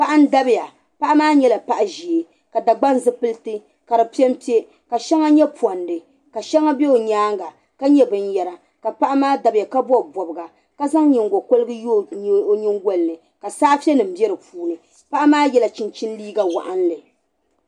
Paɣa n dabiya. paɣa maa nyɛla paɣa ʒɛɛ, ka Dagban zi pilit ka di pɛn pɛ ka shaŋa nyɛ pɔndi, ka shaŋa bɛ ɔ nyaaŋa ka nyɛ bɛn yara ka paɣa maa dabiya ka bɔbi bɔbga. ka zaŋ nyiŋgo korigu n ye ɔ nyiŋgolini, ka saafe nim be di puuni paɣa maa yela chinchini liiga waɣinli.